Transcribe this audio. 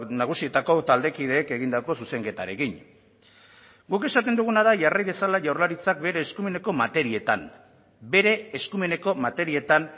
nagusietako taldekideek egindako zuzenketarekin guk esaten duguna da jarri dezala jaurlaritzak bere eskumeneko materietan bere eskumeneko materietan